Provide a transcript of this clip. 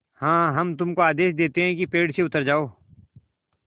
हाँ हम तुमको आदेश देते हैं कि पेड़ से उतर जाओ